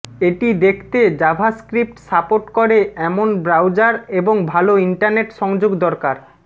এটি দেখতে JavaScript support করে এমন ব্রাউজার এবং ভালো ইন্টারনেট সংযোগ দরকার